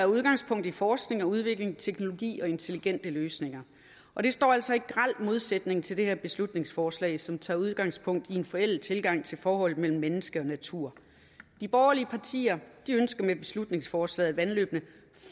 udgangspunkt i forskning og udvikling teknologi og intelligente løsninger og det står altså i grel modsætning til det her beslutningsforslag som tager udgangspunkt i en forældet tilgang til forholdet mellem mennesker og natur de borgerlige partier ønsker med beslutningsforslaget at vandløbene